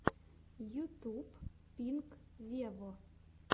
ютуб пинк вево